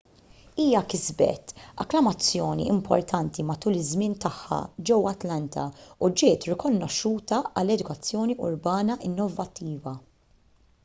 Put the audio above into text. hija kisbet akklamazzjoni importanti matul iż-żmien tagħha ġewwa atlanta u ġiet rikonoxxuta għal edukazzjoni urbana innovattiva